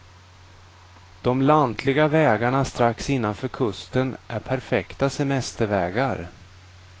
De lantliga vägarna strax innanför kusten är perfekta semestervägar.